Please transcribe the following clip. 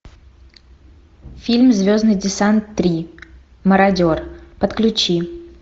фильм звездный десант три мародер подключи